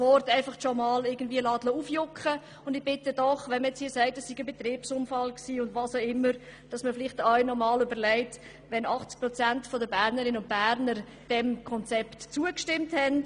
Wenn man nun hier von einem Betriebsunfall spricht, dann bitte ich doch, sich vielleicht auch einmal zu überlegen, ob es wirklich ein Betriebsunfall sein kann, wenn 80 Prozent der Bernerinnen und Berner diesem Konzept zugestimmt haben.